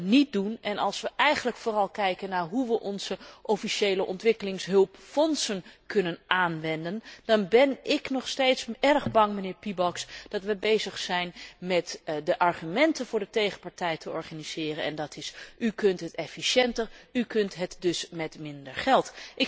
Maar als wij dat niet doen en als wij eigenlijk vooral kijken naar hoe wij onze officiële ontwikkelingshulpfondsen kunnen aanwenden, dan ben ik nog steeds erg bang, mijnheer Piebalgs, dat wij bezig zijn met de argumenten voor de tegenpartij te organiseren en dat is u kunt het efficiënter, u kunt het dus met minder geld.